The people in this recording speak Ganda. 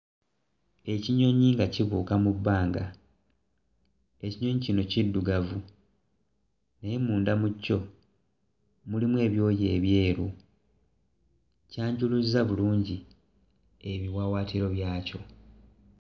Ekinyonyi nga kibuuka mu bbanga ekinyonyi kino kiddugavu naye munda mu kyo mulimu ebyoya ebyeru kyanjuluzza bulungi ebiwaawaatiro byakyo